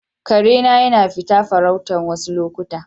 Kare na yana fita farauta wassu lokuta.